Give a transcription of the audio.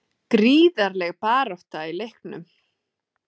Þórgrímur, hvað er opið lengi á föstudaginn?